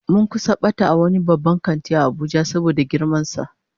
Mun kusa bata a wani babban kanti a Abuja saboda girman sa